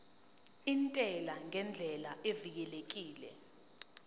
intela ngendlela evikelekile